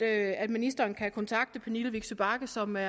at ministeren kan kontakte fru pernille vigsø bagge som er